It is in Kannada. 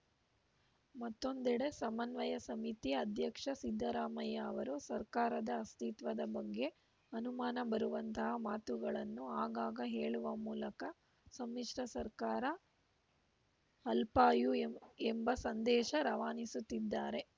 ಮತ್ತೊಂದೆಡೆ ಸಮನ್ವಯ ಸಮಿತಿ ಅಧ್ಯಕ್ಷ ಸಿದ್ದರಾಮಯ್ಯ ಅವರು ಸರ್ಕಾರದ ಅಸ್ತಿತ್ವದ ಬಗ್ಗೆ ಅನುಮಾನ ಬರುವಂತಹ ಮಾತುಗಳನ್ನು ಆಗಾಗ ಹೇಳುವ ಮೂಲಕ ಸಮ್ಮಿಶ್ರ ಸರ್ಕಾರ ಅಲ್ಪಾಯು ಎಂಬ ಸಂದೇಶ ರವಾನಿಸುತ್ತಿದ್ದಾರೆ